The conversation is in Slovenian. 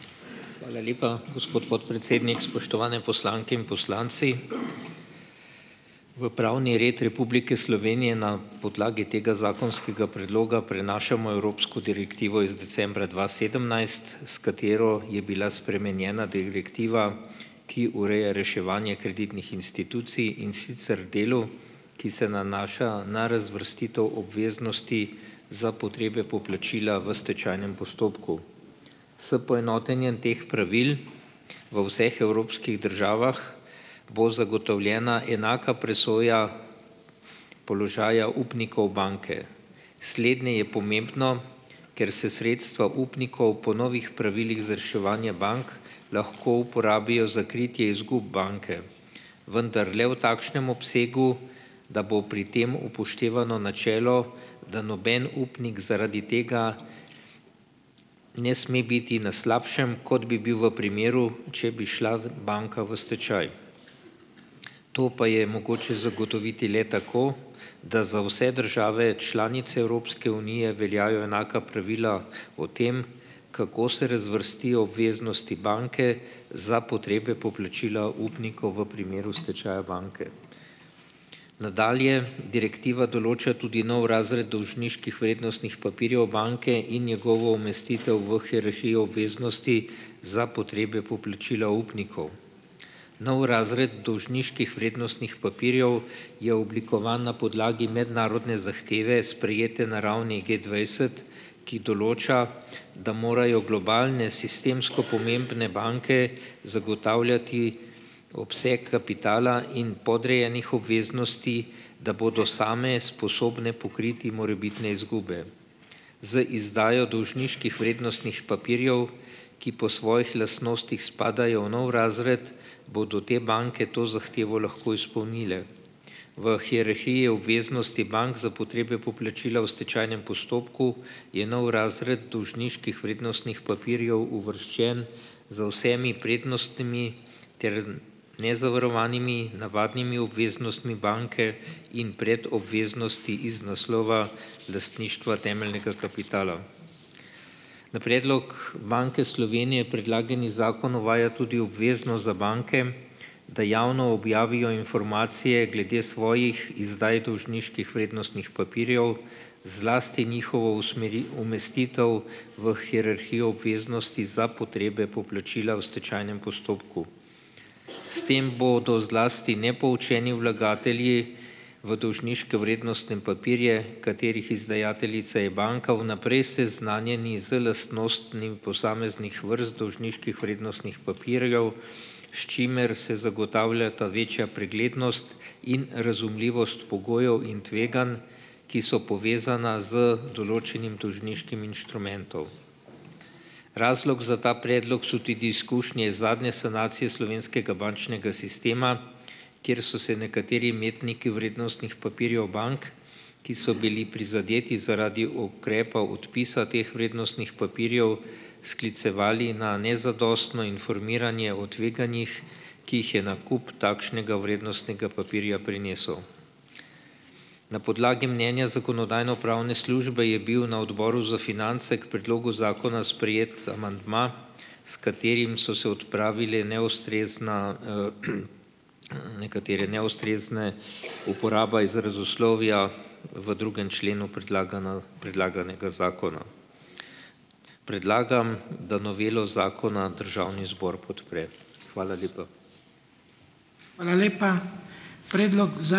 Hvala lepa, gospod podpredsednik. Spoštovane poslanke in poslanci! V pravni red Republike Slovenije na podlagi tega zakonskega predloga prenašamo evropsko direktivo iz decembra dva sedemnajst, s katero je bila spremenjena direktiva, ki ureja reševanje kreditnih institucij, in sicer v delu, ki se nanaša na razvrstitev obveznosti za potrebe poplačila v stečajnem postopku. S poenotenjem teh pravil v vseh evropskih državah bo zagotovljena enaka presoja položaja upnikov banke. Slednje je pomembno, ker se sredstva upnikov po novih pravilih za reševanje bank lahko uporabijo za kritje izgub banke, vendar le v takšnem obsegu, da bo pri tem upoštevano načelo, da noben upnik zaradi tega ne sme biti na slabšem, kot bi bil v primeru, če bi šla z banka v stečaj. To pa je mogoče zagotoviti le tako, da za vse države članice Evropske unije veljajo enaka pravila o tem, kako se razvrstijo obveznosti banke za potrebe poplačila upnikov v primeru stečaja banke. Nadalje direktiva določa tudi nov razred dolžniških vrednostnih papirjev banke in njegovo umestitev v hierarhijo obveznosti za potrebe poplačila upnikov. Nov razred dolžniških vrednostnih papirjev je oblikovan na podlagi mednarodne zahteve, sprejete na ravni Gdvajset, ki določa, da morajo globalne sistemsko pomembne banke zagotavljati obseg kapitala in podrejenih obveznosti, da bodo same sposobne pokriti morebitne izgube. Z izdajo dolžniških vrednostnih papirjev, ki po svojih lastnostih spadajo v nov razred, bodo te banke to zahtevo lahko izpolnile. V hierarhiji obveznosti bank za potrebe poplačila v stečajnem postopku je nov razred dolžniških vrednostnih papirjev uvrščen z vsemi prednostmi ter nezavarovanimi navadnimi obveznostmi banke in proti obveznosti iz naslova lastništva temeljnega kapitala. Na predlog Banke Slovenije predlagani zakon uvaja tudi obveznost za banke, da javno objavijo informacije glede svojih izdaj dolžniških vrednostnih papirjev, zlasti njihovo umestitev v hierarhijo obveznosti za potrebe poplačila v stečajnem postopku. S tem bodo zlasti nepoučeni vlagatelji v dolžniške vrednostne papirje, katerih izdajateljica je banka, vnaprej seznanjeni z lastnostmi v posameznih vrst dolžniških vrednostnih papirjev, s čimer se zagotavljata večja preglednost in razumljivost pogojev in tveganj, ki so povezana z določenim dolžniškim inštrumentov. Razlog za ta predlog so tudi izkušnje iz zadnje sanacije slovenskega bančnega sistema, kjer so se nekateri imetniki vrednostnih papirjev bank, ki so bili prizadeti zaradi ukrepa odpisa teh vrednostnih papirjev, sklicevali na nezadostno informiranje o tveganjih, ki jih je nakup takšnega vrednostnega papirja prinesel. Na podlagi mnenja Zakonodajno-pravne službe je bil na Odboru za finance k predlogu zakona sprejet amandma, s katerim so se odpravile neustrezne, nekatere neustrezne - uporaba izrazoslovja v drugem členu predlaganega zakona. Predlagam, da novelo zakona državni zbor podpre. Hvala lepa.